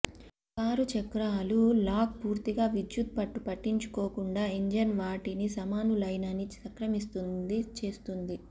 car చక్రాలు lock పూర్తిగా విద్యుత్ పట్టు పట్టించుకోకుండా ఇంజిన్ వాటికి సమానులేనని సంక్రమిస్తుంది చేస్తుంది